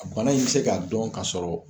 A bana in bɛ se ka dɔn ka sɔrɔ